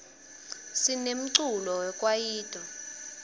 sinemculo we kwayito